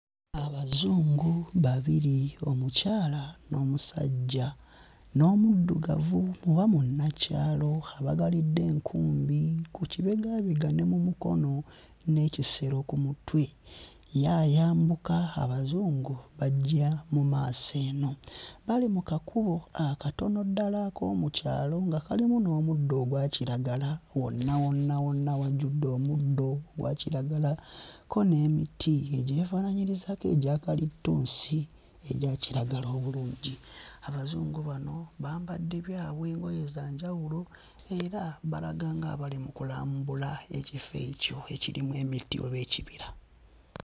Abazungu babiri: omukyala n'omusajja, n'omuddugavu oba munnakyalo abagalidde enkumbi ku kibegaabega ne mu mukono n'ekisero ku mutwe; ye ayambuka, Abazungu bajja mu maaso eno. Bali mu kakubo akatono ddala ak'omu kyalo nga kalimu n'omuddo ogwa kiragala wonna wonna wonna wajjudde omuddo ogwa kiragala kko n'emiti egyefaanaanyirizaako egya kalitunsi egya kiragala obulungi. Abazungu bano bambadde byabwe, engoye za njawulo era balaga nga abali mu kulambula ekifo ekyo ekirimu emiti oba ekibira.